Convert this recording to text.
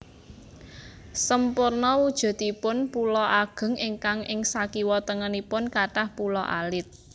Semporna wujudipun pulo ageng ingkang ing sakiwatengenipun kathah pulo alit